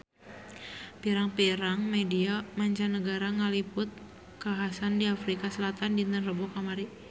Pirang-pirang media mancanagara ngaliput kakhasan di Afrika Selatan dinten Rebo kamari